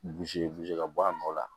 ka bɔ a nɔ la